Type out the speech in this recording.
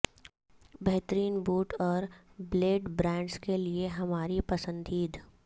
بہترین بوٹ اور blade brands کے لئے ہماری پسندیں